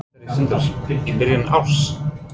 Sindri Sindrason: Í byrjun árs?